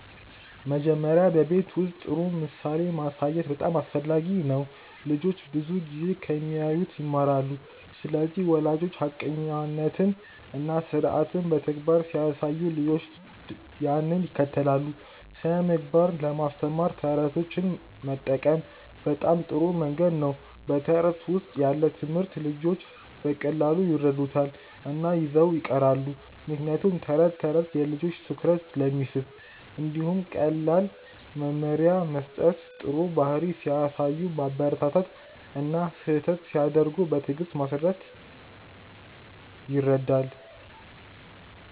መጀመሪያ በቤት ውስጥ ጥሩ ምሳሌ ማሳየት በጣም አስፈላጊ ነው። ልጆች ብዙ ጊዜ ከሚያዩት ይማራሉ ስለዚህ ወላጆች ሐቀኛነትን እና ስርዓትን በተግባር ሲያሳዩ ልጆችም ያንን ይከተላሉ። ስነ ምግባር ለማስተማር የተረቶች መጠቀም በጣም ጥሩ መንገድ ነው በተረት ውስጥ ያለ ትምህርት ልጆች በቀላሉ ይረዱታል እና ይዘው ይቀራሉ ምክንያቱም ተረት ተረት የልጆችን ትኩረት ስለሚስብ። እንዲሁም ቀላል መመሪያ መስጠት ጥሩ ባህሪ ሲያሳዩ ማበረታታት እና ስህተት ሲያደርጉ በትዕግስት ማስረዳት ይረዳል።